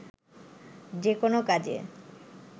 যেকোনো কাজে